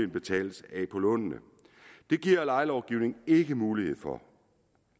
betales af på lånene det giver lejelovgivningen ikke mulighed for